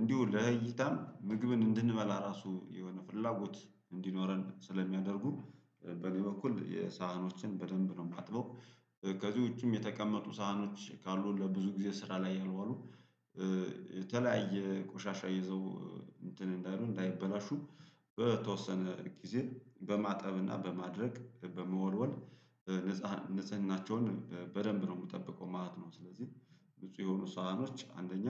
እንዲሁ ለእይታም ምግብን እንድንበላ ራሱ የሆነ ፍላጎት እንዲኖረን ስለሚያደርጉ በኔ በኩል የሳህኖችን በደንብ ነው ማጥበው። ከዚህ ውጪም የተቀመጡ ሳህኖች ካሉ ለብዙ ጊዜ ስራ ላይ ያልዋሉ የተለያየ ቆሻሻ ይዘው እንትን እንዳይሉ እንዳይበላሹ በተወሰነ ጊዜ በማጠብ እና በማድረቅ በመወልወል ንፁሃ ንፁህናቸውን በደንብ ነው ምጠብቀው ማለት ነው። ስለዚህ ንጹህ የሆኑ ሳህኖች አንደኛ